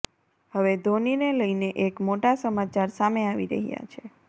હવે ધોનીને લઈને એક મોટા સમાચાર સામે આવી રહ્યા છે